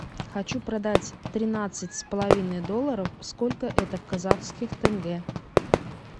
хочу продать тринадцать с половиной долларов сколько это в казахских тенге